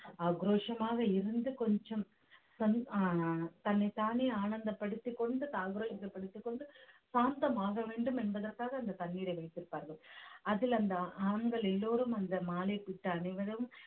ஆக்ரோஷமாக இருந்து கொஞ்சம் தன்னைத்தானே ஆனந்தப்படுத்திக் கொண்டு படித்திக் கொண்டு சாந்தமாக வேண்டும் என்பதற்காக அந்த தண்ணீரை வைத்திருப்பார்கள் அதில் அந்த ஆண்கள் எல்லோரும் அந்த அனைவரும்